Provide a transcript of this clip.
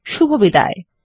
শুভবিদায়